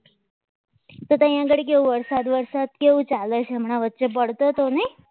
તો ત્યાં આગળ એક વરસાદ વરસાદ કેવો ચાલે છે હમણાં વચ્ચે પડતો હતો ને